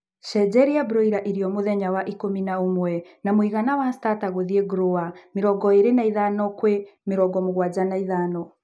Shenjeria broiler irio mũthenya wa ikũmi na ũmwe na mũigana wa starter gũthie grower 25:75